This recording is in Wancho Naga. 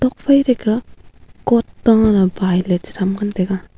nuak phai taike coat ta abai ley te tham ngan taiga.